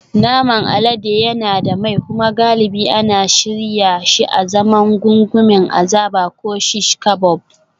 Naman alade yana da mai kuma galibi ana shirya shi azaman gungumen azaba ko shish kabob